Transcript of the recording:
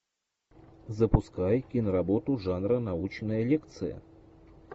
запускай киноработу жанра научная лекция